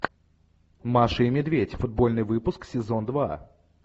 маша и медведь футбольный выпуск сезон два